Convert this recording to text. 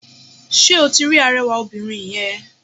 Sé o ti rí arewà obìnrin yen?